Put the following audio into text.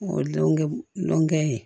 O donkɛ dɔnkɛ ye